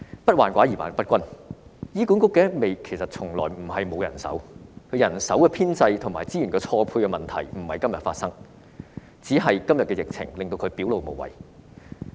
不患寡而患不均，醫管局從來不是沒有人手，而人手編制和資源錯配的問題不是今天發生，只是今天的疫情令問題表露無遺。